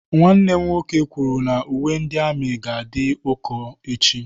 Nwanne m nwoke kwuru na uwe ndị amị ga-adị ụkọ echi.